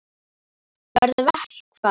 Verður verkfall?